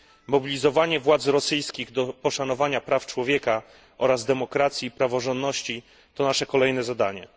Mobilizowanie władz rosyjskich do poszanowania praw człowieka oraz demokracji i praworządności to nasze kolejne zadanie.